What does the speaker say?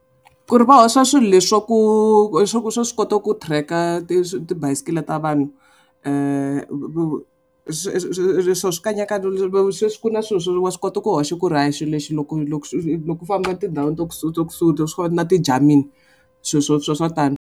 Ku ri va hoxa swilo leswa ku swa ku swa swi kota ku tracker ti tibayosikiri ta vanhu swikanyakanya sweswi ku na swilo swo wa swi kota ku hoxa ku ri a xilo lexi loko loko loko u famba tindhawini to swona na ti swilo sweswo swa tani.